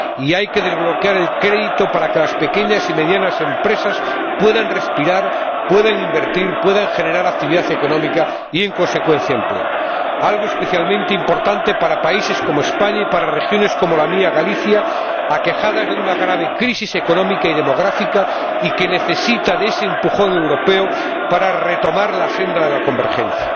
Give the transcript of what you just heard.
hay que desbloquear el crédito para que las pequeñas y medianas empresas puedan respirar, puedan invertir, puedan generar actividad económica y, en consecuencia, empleo, algo especialmente importante para países como España y para regiones como la mía —Galicia—, aquejada de una grave crisis económica y demográfica, y que necesita de ese empujón europeo para retomar la senda de la convergencia.